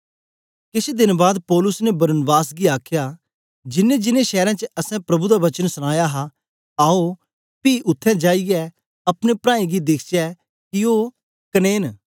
केछ देन बाद पौलुस ने बरनबास गी आखया जिन्नेंजिन्नें शैरें च असैं प्रभु दा वचन सनाया हा आओ पी उत्थें जाईयै अपने प्राऐं गी दिखचै कि ओ कदें न